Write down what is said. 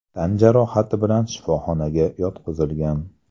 tan jarohati bilan shifoxonaga yotqizilgan.